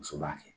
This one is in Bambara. Muso b'a kɛ